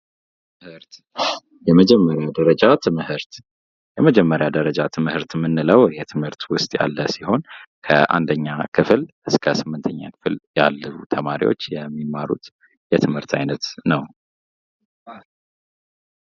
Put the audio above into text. ትምህርት የመጀመሪያ ደረጃ ትምህርት የመጀመሪያ ደረጃ ትምህርት የምንለው የትምህርት ውስጥ ያለ ሲሆን ከ1ኛ ክፍል - 8ኛ ክፍል ያሉ ተማሪዎች የሚማሩት የትምህርት አይነት ነው።